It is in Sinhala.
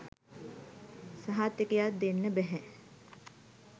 සහතිකයක් දෙන්න බැහැ.